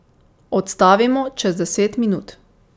Odstavimo čez deset minut.